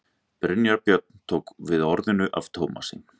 Brynjar Björn tók við orðinu af Tómasi.